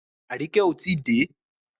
Aríkẹ́ ò tí dé.